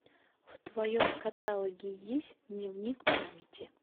в твоем каталоге есть дневник памяти